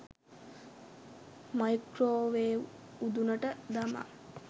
microwave උදුනට දමා